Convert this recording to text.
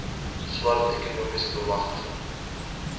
swart ekonomiese beamgtiging